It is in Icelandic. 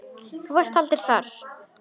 Þú varst aldrei þar.